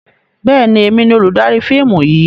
Bẹ́ẹ̀ni, èmi ni olùdarí fíìmù yìí.